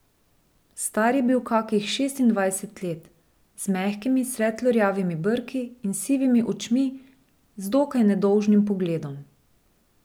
Star je bil kakih šestindvajset let, z mehkimi, svetlo rjavimi brki in sivimi očmi z dokaj nedolžnim pogledom.